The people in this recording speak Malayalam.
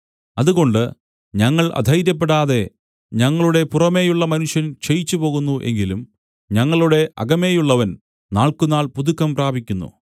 അതുകൊണ്ട് ഞങ്ങൾ അധൈര്യപ്പെടാതെ ഞങ്ങളുടെ പുറമേയുള്ള മനുഷ്യൻ ക്ഷയിച്ചുപ്പോകുന്നു എങ്കിലും ഞങ്ങളുടെ അകമേയുള്ളവൻ നാൾക്കുനാൾ പുതുക്കം പ്രാപിക്കുന്നു